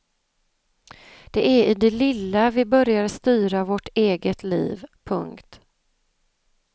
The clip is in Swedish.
Det är i det lilla vi börjar styra vårt eget liv. punkt